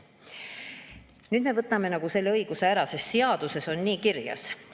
Nüüd me võtame talt selle õiguse ära, sest seaduses on nii kirjas.